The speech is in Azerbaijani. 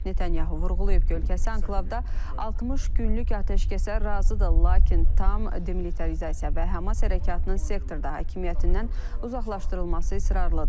Netanyahu vurğulayıb ki, ölkəsi anklavda 60 günlük atəşkəsə razıdır, lakin tam demilitarizasiya və Hamas hərəkatının sektorda hakimiyyətindən uzaqlaşdırılması israrlıdır.